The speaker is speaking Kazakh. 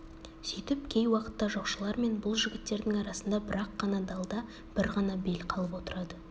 сүйтіп кей уақытта жоқшылар мен бұл жігіттердің арасында бір-ақ қана далда бір ғана бел қалып отырады